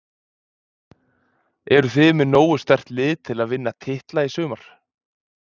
Eruð þið með nógu sterkt lið til að vinna titla í sumar?